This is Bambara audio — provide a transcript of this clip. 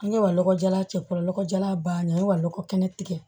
An ye wa lɔgɔ jalan cɛ fɔlɔ lɔgɔ jalan banna n ye wa lɔgɔ kɛnɛ tigɛ